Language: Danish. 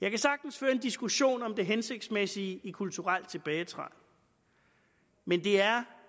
jeg kan sagtens føre en diskussion om det hensigtsmæssige i kulturel tilbagetrækning men det er